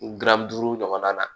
Gan duuru ɲɔgɔnna na